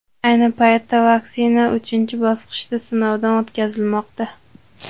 Ayni paytda vaksina uchinchi bosqichda sinovdan o‘tkazilmoqda.